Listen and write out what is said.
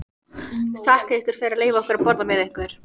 Þakka ykkur fyrir að leyfa okkur að borða með ykkur.